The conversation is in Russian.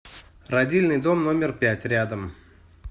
родильный дом номер пять рядом